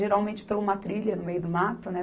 Geralmente, pela uma trilha no meio do mato, né?